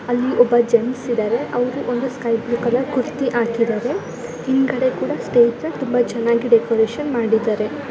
ಅಲ್ಲಿ ಒಬ್ಬ ಜೆಂಟ್ಸ್ ಇದರೆ ಅವರು ಒಂದು ಸ್ಕೈಬ್ಲ್ಯೂ ಕಲರ್ ಕುರ್ತಿ ಹಾಕಿದರೆ ಹಿಂದುಗಡೆ ಕೂಡ ಸ್ಟೇಜ್ನ ತುಂಬಾ ಚನ್ನಾಗಿ ಡೆಕೊರೇಷನ್ ಮಾಡಿದರೆ.